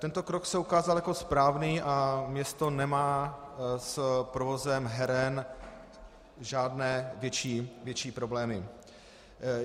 Tento krok se ukázal jako správný a město nemá s provozem heren žádné větší problémy.